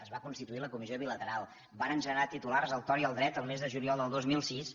es va constituir la comissió bilateral varen generar titulars a tort i a dret el mes de juliol del dos mil sis